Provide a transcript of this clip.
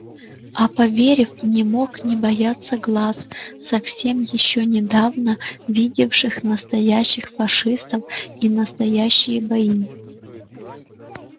а поверив не мог не бояться глаз совсем ещё недавно видевших настоящих фашистов и настоящие бои